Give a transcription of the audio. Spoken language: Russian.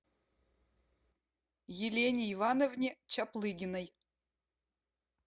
елене ивановне чаплыгиной